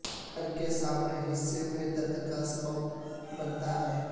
سر کے سامنے کے حصے میں درد کا سبب بنتا ہے